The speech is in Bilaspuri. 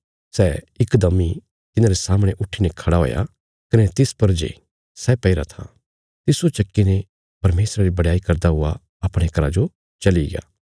सै इकदम इ तिन्हांरे सामणे उट्ठीने खड़ा हुया कने तिस पर जे सै पैईरा था तिस्सो चक्कीने परमेशरा री बडयाई करदा हुआ अपणे घरा जो चलिग्या